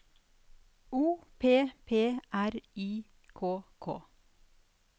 O P P R Y K K